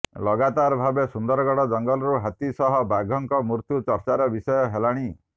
ଲଗାତାର ଭାବରେ ସୁନ୍ଦରଗଡ଼ ଜଙ୍ଗଲରୁ ହାତୀ ସହ ବାଘଙ୍କ ମୃତ୍ୟୁ ଚର୍ଚ୍ଚାର ବିଷୟ ହେଲାଣି